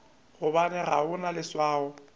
gobane ga o na leswao